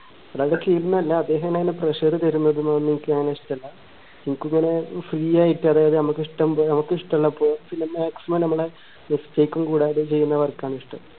ഒരാളുടെ കീഴിൽ എന്നല്ല അദ്ദേഹം എന്നെ ഇങ്ങനെ pressure തരുന്നതൊന്നും എനിക്ക് അങ്ങനെ ഇഷ്ടല്ല എനിക്ക് free ആയിട്ട് അതായത് നമുക്ക് ഇഷ്ടം പോ ഇഷ്ടള്ളപ്പോ പിന്നെ maximum നമ്മളെ mistake ഉം കൂടാതെ ചെയ്യുന്ന work ആണ് ഇഷ്ടം